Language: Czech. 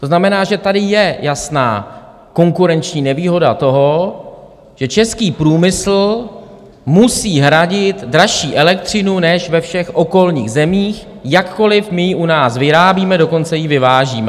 To znamená, že tady je jasná konkurenční nevýhoda toho, že český průmysl musí hradit dražší elektřinu než ve všech okolních zemích, jakkoliv my ji u nás vyrábíme, dokonce ji vyvážíme!